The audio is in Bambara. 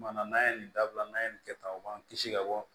Kumana n'an ye nin dabila n'an ye nin kɛ tan u b'an kisi ka bɔ